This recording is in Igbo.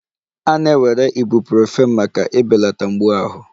A na-ewere Ibuprofen maka ibelata mgbu ahụ